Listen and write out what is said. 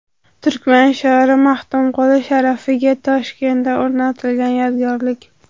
Turkman shoiri Maxtumquli sharafiga Toshkentda o‘rnatilgan yodgorlik.